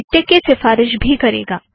MiKTeX की सीफ़ारिश भी करेगा